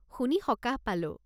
শুনি সকাহ পালোঁ।